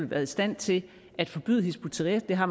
været i stand til at forbyde hizb ut tahrir det har